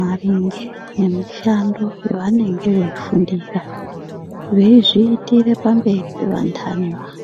maringe nemishando yavanenge veifundira veizviitire pamberi pevantani vana.